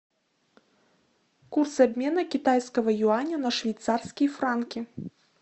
курс обмена китайского юаня на швейцарские франки